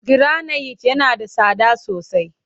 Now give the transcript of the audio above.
Giranayit yana da tsada sosai